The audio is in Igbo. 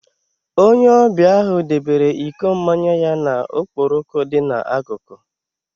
Onye ọbịa ahụ debere iko mmanya ya na okporoko dị n'akụkụ.